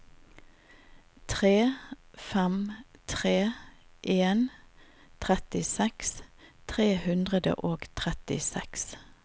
tre fem tre en trettiseks tre hundre og trettiseks